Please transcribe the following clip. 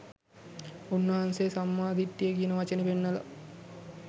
උන්වහන්සේ සම්මා දිට්ඨිය කියන වචනේ පෙන්වලා